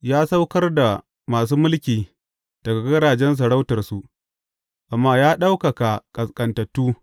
Ya saukar da masu mulki daga gadajen sarautarsu amma ya ɗaukaka ƙasƙantattu.